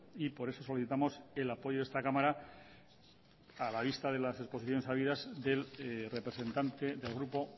y por eso solicitamos el apoyo de esta cámara a la vista de las exposiciones habidas del representante del grupo